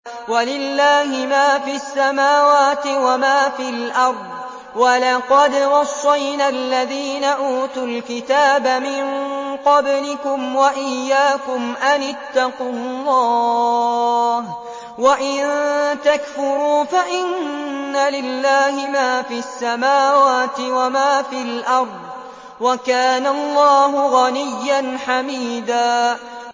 وَلِلَّهِ مَا فِي السَّمَاوَاتِ وَمَا فِي الْأَرْضِ ۗ وَلَقَدْ وَصَّيْنَا الَّذِينَ أُوتُوا الْكِتَابَ مِن قَبْلِكُمْ وَإِيَّاكُمْ أَنِ اتَّقُوا اللَّهَ ۚ وَإِن تَكْفُرُوا فَإِنَّ لِلَّهِ مَا فِي السَّمَاوَاتِ وَمَا فِي الْأَرْضِ ۚ وَكَانَ اللَّهُ غَنِيًّا حَمِيدًا